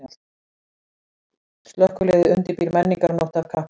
Slökkviliðið undirbýr menningarnótt af kappi